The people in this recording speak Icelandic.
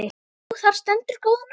Jú, þar stendur góða nótt.